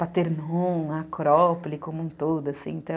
Paternum, Acrópole, como um todo, assim, então...